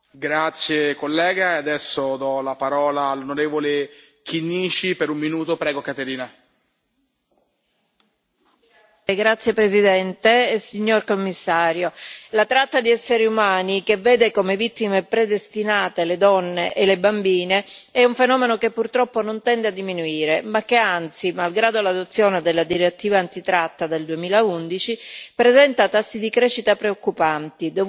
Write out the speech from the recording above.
Signor Presidente, signor Commissario, la tratta di esseri umani, che vede come vittime predestinate le donne e le bambine, è un fenomeno che purtroppo non tende a diminuire ma che anzi, malgrado l'adozione della direttiva antitratta del 2011, presenta tassi di crescita preoccupanti, dovuti principalmente alla crisi migratoria in corso,